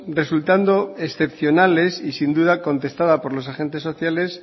resultando excepcionales y sin duda contestada por los agentes sociales